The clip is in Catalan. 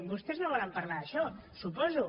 vostès no volen parlar d’això suposo